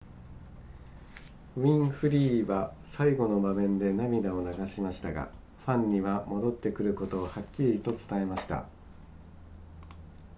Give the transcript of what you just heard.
ウィンフリーは最後の場面で涙を流しましたがファンには戻ってくることをはっきりと伝えました